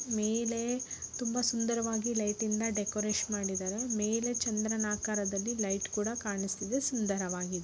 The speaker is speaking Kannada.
ಮೇಲೆ ತುಂಬಾ ಸುಂದರವಾಗಿ ಲೈಟಿಂ ದ ಡೆಕೋರೇಷನ್ ಮಾಡಿದ್ದಾರೆ ಮೇಲೆ ಚಂದ್ರನ ಆಕಾರದಲ್ಲಿ ಲೈಟ್ ಕೂಡ ಕಾಣಿಸ್ತಾ ಇದೆ ಸುಂದರವಾಗಿದೆ .